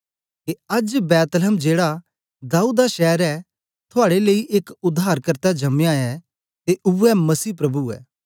के अज्ज बेथलेहम जेड़ा दाऊद दा शैर ए थुआड़े लेई एक उद्धारकर्ता जमया ऐ ते उवै मसीह प्रभु ऐ